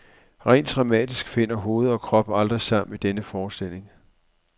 Rent dramatisk finder hoved og krop aldrig sammen i denne forestilling.